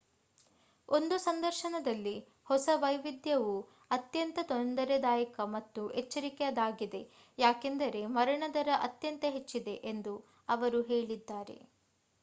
ಒಂದು ಸಂದರ್ಶನದಲ್ಲಿ ಹೊಸ ವೈವಿಧ್ಯವು ಅತ್ಯಂತ ತೊಂದರೆದಾಯಕ ಮತ್ತು ಎಚ್ಚರಿಕೆಯದಾಗಿದೆ ಯಾಕೆಂದರೆ ಮರಣ ದರ ಅತ್ಯಂತ ಹೆಚ್ಚಿದೆ ಎಂದು ಅವರು ಹೇಳಿದ್ದಾರೆ